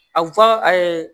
A fɔ